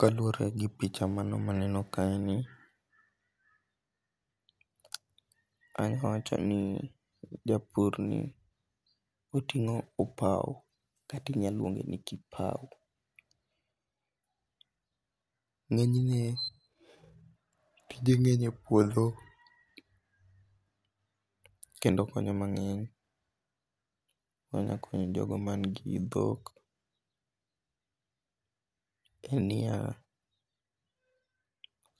Kaluore gi picha mano maneno kaeni, anyawacho ni japurni otingo' opau kati inyalo lwonge' ni kipau, nge'ne tije ngenyie puotho, kendo okonyo mange'ny, onyakonyo jogo man gi dhok, en niya